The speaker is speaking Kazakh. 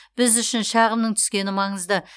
біз үшін шағымның түскені маңызды